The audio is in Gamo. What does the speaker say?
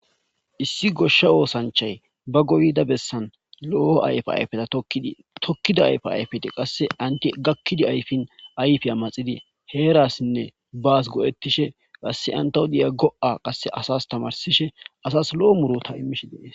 Issi goshsha oosanchay ba goyda bessan lo'o ayfa ayfeta tokid tokkida ayfa ayfete qasse anti gakkidi ayfin ayfi ammaxidi heerassinne baas goo7ettishe qasse antao diya go'a qasse asas tamarsishe asas lo'o muro ta immishe dees.